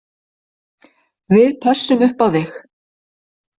Við pössum upp á þig